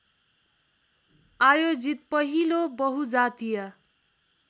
आयोजित पहिलो बहुजातीय